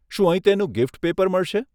શું અહીં તેનું ગિફ્ટ પેપર મળશે?